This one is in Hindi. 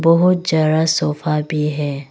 बहोत जरा सोफा भी है।